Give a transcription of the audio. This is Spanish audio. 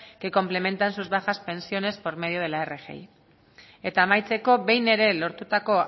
que complementan sus bajas pensiones por medio de la rgi eta amaitzeko behin ere lortutako